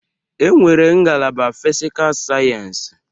E nwere ngalaba Fisical Sayensi.